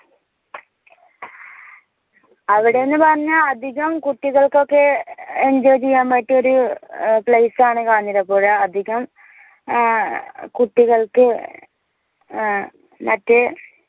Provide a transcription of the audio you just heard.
അവിടെന്ന് പറഞ്ഞ അധികം കുട്ടികൾക്കൊക്കെ enjoy ചെയ്യാൻ പറ്റിയൊരു place ആണ് കാഞ്ഞിരപ്പുഴ അധികം ഏർ കുട്ടികൾക് ഏർ മറ്റേ